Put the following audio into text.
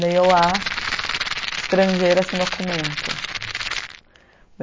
Daí eu lá, estrangeira sem documento.